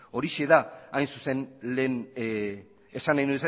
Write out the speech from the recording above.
horixe da hain zuzen lehen esan nahi